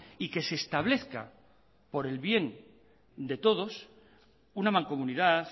y que se establezca por el bien de todos una mancomunidad